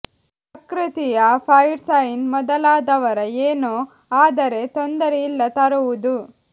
ಪ್ರಕೃತಿಯ fire sign ಮೊದಲಾದವರ ಏನೂ ಆದರೆ ತೊಂದರೆ ಇಲ್ಲ ತರುವುದು